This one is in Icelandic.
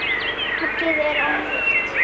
Lakið er ónýtt!